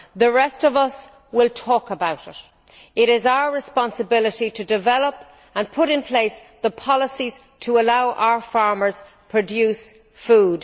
The rest of us will talk about it. It is our responsibility to develop and put in place the policies to allow our farmers to produce food.